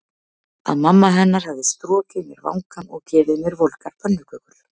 Að mamma hennar hefði strokið mér vangann og gefið mér volgar pönnukökur.